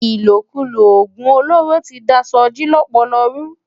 Ilókúló ógún ólóró ti dá Soji lòpòlò rú